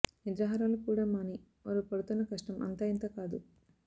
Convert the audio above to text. నిద్రాహారాలు కూడా మాని వారు పడుతున్న కష్టం అంతా ఇంతా కాదు